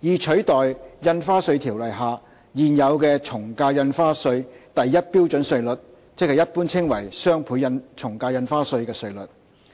以取代《印花稅條例》下現有的從價印花稅第1標準稅率，即一般稱為"雙倍從價印花稅"的稅率。